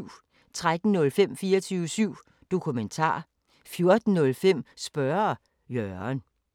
13:05: 24syv Dokumentar 14:05: Spørge Jørgen